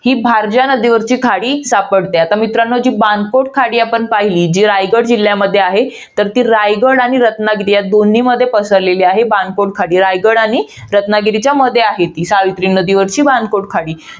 ही भारजा नदीवरची खाडी सापडते. आता मित्रांनो, जी बाणकोट नदी आपण पहिली. जी रायगड जिल्ह्यामध्ये आहे. तर ती रायगड आणि रत्नागिरी दोन्हीमध्ये पसरलेली आहे. रायगड आणि रत्नागिरीच्या मध्ये आहे ती, सावित्री नदीवरची बाणकोट खाडी.